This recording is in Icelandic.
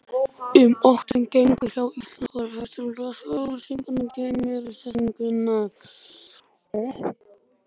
Um notkun greinarmerkja í íslensku er hægt að lesa í auglýsingu um greinarmerkjasetningu.